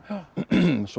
sonur